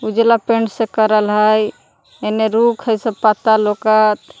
उजला पेंट से करल हई एने रुख हई सब पत्ता लौकत।